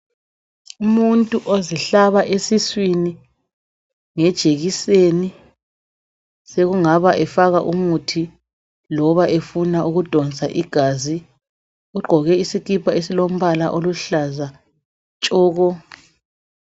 Umuntu ozihlaba esiswini ngejekiseni, sekungabe efaka umuthi, loba efuna ukudonsa igazi. Ugqoke isikipa esilombala oluhlaza tshoko.